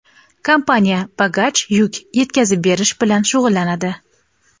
kompaniya bagaj (yuk) yetkazib berish bilan shug‘ullanadi.